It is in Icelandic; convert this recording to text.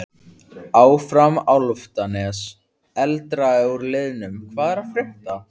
Áfram Álftanes.Eldra úr liðnum Hvað er að frétta?